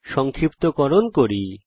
সংক্ষিপ্তকরণ করি